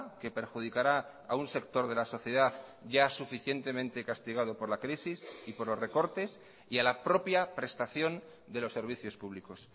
que perjudicará a un sector de la sociedad ya suficientemente castigado por la crisis y por los recortes y a la propia prestación de los servicios públicos